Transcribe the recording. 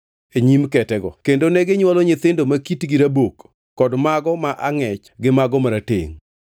e nyim ketego. Kendo neginywolo nyithindo ma kitgi rabok kod mago ma angʼech gi mago maratengʼ.